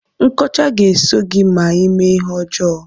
Nkọcha ga-eso gị ma ime ihe ọjọọ.